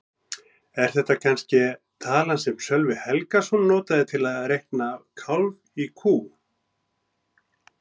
Er þetta kannske talan sem Sölvi Helgason notaði til að reikna kálf í kú?